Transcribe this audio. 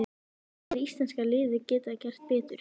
En hvað hefði íslenska liðið geta gert betur?